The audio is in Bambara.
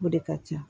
O de ka ca